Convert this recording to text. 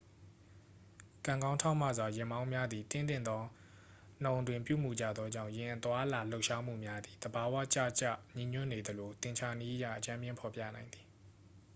ကံကောင်းထောက်မစွာ ယာဉ်မောင်းများသည် သင့်တင့်သော နှုန်းအတွင်း ပြုမူကြသောကြောင့် ယာဉ်အသွားအလာ ရွေလျားမှုများသည် သဘာဝကျကျညီညွတ်နေသလို သင်္ချာနည်းအရ အကြမ်းဖျင်းဖော်ပြနိုင်သည်